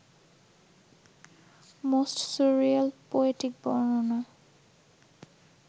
most surreal poetic বর্ণনা